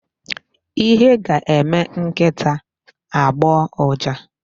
Ihe ga-eme nkịta agbọọ ụja.